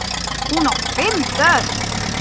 Hún á fimm börn.